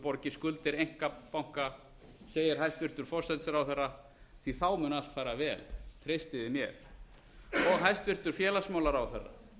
borgi skuldir einkabanka segir forsætisráðherra því að þá mun allt fara vel treystið þið mér og hæstvirtur félagsmálaráðherra